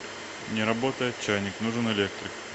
не работает чайник нужен электрик